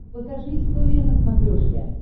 покажи история на смотрешке